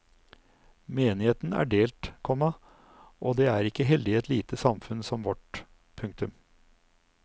Menigheten er delt, komma og det er ikke heldig i et lite samfunn som vårt. punktum